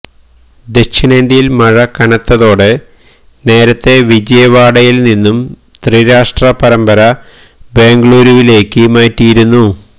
ദക്ഷിണേന്ത്യയിൽ മഴ കനത്തതോടെ നേരത്തെ വിജയവാഡയിൽ നിന്നും ത്രിരാഷ്ട്ര പരമ്പര ബെംഗളൂരുവിലേക്ക് മാറ്റിയിരുന്നു